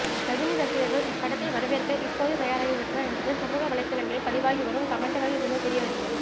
ரஜினி ரசிகர்கள் இப்படத்தை வரவேற்க இப்போதே தயாராகிவிட்டனர் என்பது சமூக வலைதளங்களில் பதிவாகி வரும் கமெண்ட்டுக்களில் இருந்து தெரியவருகிறது